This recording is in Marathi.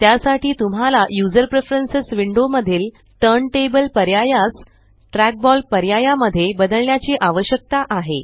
त्यासाठी तुम्हाला यूझर प्रेफरन्स विण्डो मधील टर्न टेबल पर्यायास ट्रॅकबॉल पर्याया मध्ये बदलण्याची आवश्यकता आहे